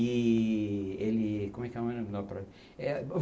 E... ele... como é que. É